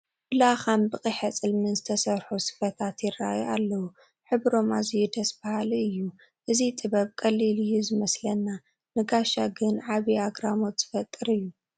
ብላኻን ብቂሐፅልምን ዝተሰርሑ ስፈታት ይርአዩ ኣለዉ፡፡ ሕብሮም ኣዝዩ ደስ በሃሊ እዩ፡፡ እዚ ጥበብ ቀሊል እዩ ዝመስለና ንጋሻ ግን ዓብዪ ኣግራሞት ዝፈጥር እዩ፡፡